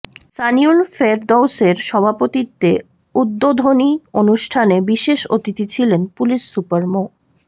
সানিউল ফেরদৌসের সভাপতিত্বে উদ্বোধনী অনুষ্ঠানে বিশেষ অতিথি ছিলেন পুলিশ সুপার মো